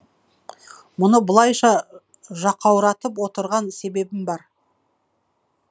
мұны бұлайша жақауратып отырған себебім бар